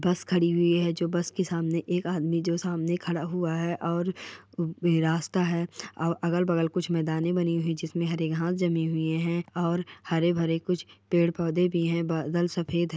बस खड़ी हुई है जो बस के सामने एक जो सामने खड़ा हुआ है और वह रास्ता है और अगल अगल कुछ मैदाने बनी हुई है जिसमे हरी घास जमी हुई है और हरे भरे कुछ पेड़ पौधे भी है बादल सफेद है।